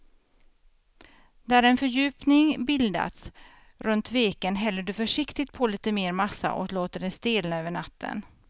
När en fördjupning bildats runt veken häller du försiktigt på lite mer massa och låter det stelna över natten.